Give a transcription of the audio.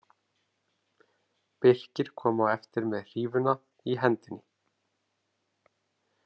Birkir kom á eftir með hrífuna í hendinni.